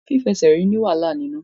Fífẹsẹ̀rìn ní wàhálà nínú.